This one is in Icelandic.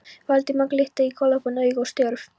Valdimar glitta í galopin augu og stjörf.